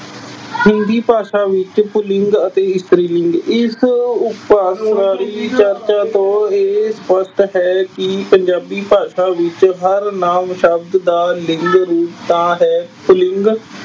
ਹਿੰਦੀ ਭਾਸ਼ਾ ਵਿੱਚ ਪੁਲਿੰਗ ਅਤੇ ਇਸਤਰੀ ਲਿੰਗ। ਇਸ ਉਪਰਲੀ ਅਹ ਵਿਆਖਿਆ ਤੋਂ ਇਹ ਸਪਸ਼ਟ ਹੈ ਕਿ ਪੰਜਾਬੀ ਭਾਸ਼ਾ ਵਿੱਚ ਹਰ ਨਾਂਵ ਸ਼ਬਦ ਦਾ ਲਿੰਗ ਰੂਪ ਤਾਂ ਹੈ ਪੁਲਿੰਗ